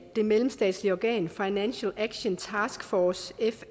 det mellemstatslige organ financial action task force